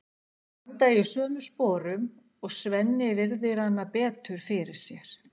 Þeir standa í sömu sporum og Svenni virðir hana betur fyrir sér.